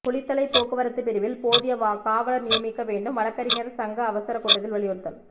குளித்தலை போக்குவரத்து பிரிவில் போதிய காவலர் நியமிக்க வேண்டும் வழக்கறிஞர்கள் சங்க அவசர கூட்டத்தில் வலியுறுத்தல்